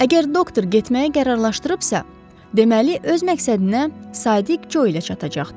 Əgər doktor getməyə qərarlaşdırıbsa, deməli öz məqsədinə sadiq Co ilə çatacaqdı.